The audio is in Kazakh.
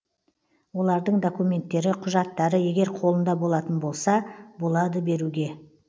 олардың документтері құжаттары егер қолында болатын болса болады беруге